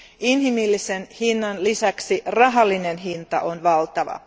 Inhimillisen hinnan lisäksi rahallinen hinta on valtava.